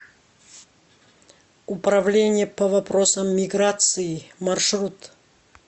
управление по вопросам миграции маршрут